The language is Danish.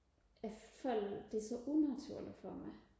jeg føler det er så unaturligt for mig